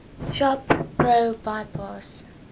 shop pro bypass